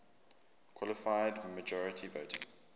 qualified majority voting